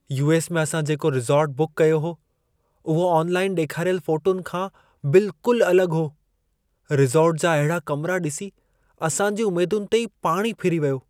US. में असां जेको रिसॉर्ट बुक कयो हो, उहो ऑनलाइन ॾेखारियल फ़ोटुनि खां बिल्कुलु अलॻि हो। रिसॉर्ट जा अहिड़ा कमिरा ॾिसी असां जी उमेदुनि ते ई पाणी फिरी वियो।